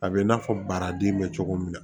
A bɛ i n'a fɔ baraden bɛ cogo min na